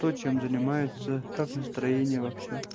то чем занимается как настроение вообще